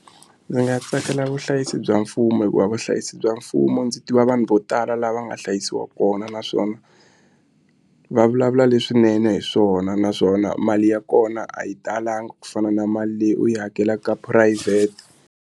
Ndzi nga tsakela vuhlayisi bya mfumo hikuva vuhlayisi bya mfumo ndzi tiva vanhu vo tala lava nga hlayisiwa kona naswona va vulavula leswinene hi swona naswona mali ya kona a yi talanga ku fana na mali leyi u yi hakelaka ka phurayivhete.